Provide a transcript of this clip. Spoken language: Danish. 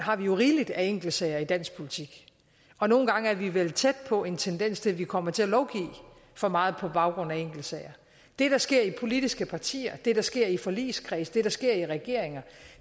rigeligt af enkeltsager i dansk politik og nogle gange er vi vel tæt på en tendens til at vi kommer til at lovgive for meget på baggrund af enkeltsager det der sker i politiske partier det der sker i forligskredse det der sker i regeringer